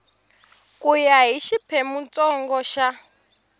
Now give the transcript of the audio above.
ku ya hi xiphemuntsongo xa